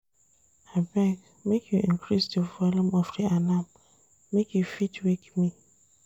Abeg make you increase di volume of di alarm, make e fit wake me.